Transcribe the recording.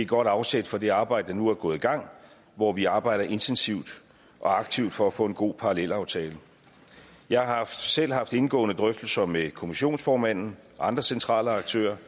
godt afsæt for det arbejde der nu er gået i gang hvor vi arbejder intensivt og aktivt for at få en god parallelaftale jeg har selv haft indgående drøftelser med kommissionsformanden og andre centrale aktører